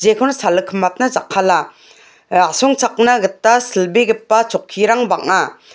jekon salikimatna jakkala ah asongchakna gita silbegipa chokkirang bang·a.